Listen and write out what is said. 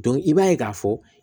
i b'a ye k'a fɔ